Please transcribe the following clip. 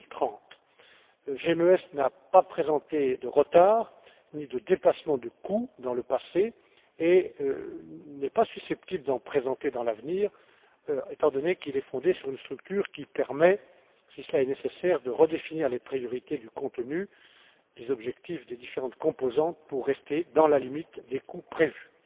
2030. GMES n'a pas présenté de retards, ni de dépassements de coûts dans le passé et n'est pas susceptible d'en présenter à l'avenir, étant donné qu'il est fondé sur une structure qui permet, si cela est nécessaire, de redéfinir les priorités du contenu des objectifs des différentes composantes pour rester dans la limite des coûts prévus.